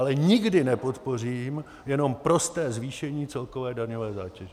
Ale nikdy nepodpořím jenom prosté zvýšení celkové daňové zátěže.